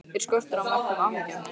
Er skortur á mörkum áhyggjuefni?